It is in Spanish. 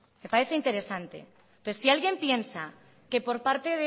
le parece interesante entonces si alguien piensa que por arte